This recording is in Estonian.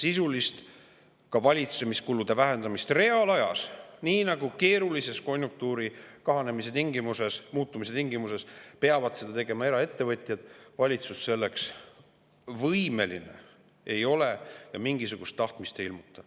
Sisuliseks valitsemiskulude vähendamiseks reaalajas, nii nagu keerulistes konjunktuuri kahanemise, muutumise tingimustes peavad tegema eraettevõtjad, valitsus võimeline ei ole ja mingisugust tahtmist ei ilmuta.